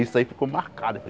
Isso aí ficou marcado.